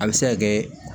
A bɛ se ka kɛ